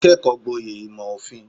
Ó kẹ́kọ̀ọ́ gboyè ìmò òfin.